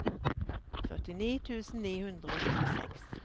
førtini tusen ni hundre og tjueseks